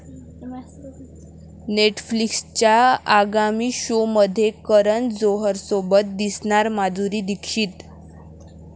नेटफ्लिक्सच्या आगामी शोमध्ये करण जोहरसोबत दिसणार माधुरी दीक्षित